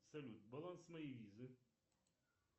салют баланс моей визы